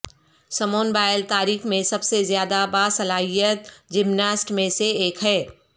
Samoon Biles تاریخ میں سب سے زیادہ باصلاحیت جمناسٹ میں سے ایک ہے